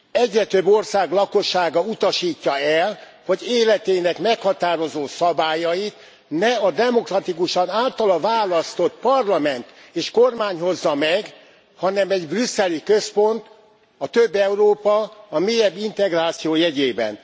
Egyre több ország lakossága utasítja el, hogy életének meghatározó szabályait ne a demokratikusan általa választott parlament és kormány hozza meg, hanem egy brüsszeli központ a több Európa, a mélyebb integráció jegyében.